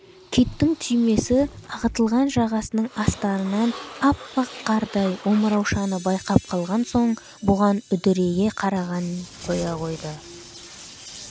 киттің түймесі ағытылған жағасының астарынан аппақ қардай омыраушаны байқап қалған соң бұған үдірейе қарағанын қоя қойды